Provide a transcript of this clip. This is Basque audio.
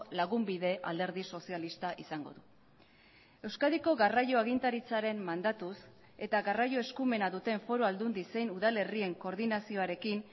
lagunbide alderdi sozialista izango du euskadiko garraio agintaritzaren mandatuz eta garraio eskumena duten foru aldundi zein udalerrien koordinazioarekin